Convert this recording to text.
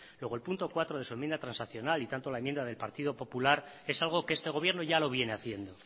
luego el punto cuatro de su enmienda transaccional y tanto la enmienda del partido popular es algo que este gobierno ya lo viene haciendo